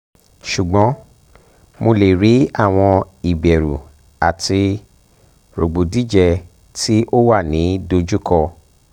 ṣugbọn mo le ri awọn iberu ati rogbodije ti o wa ni dojuko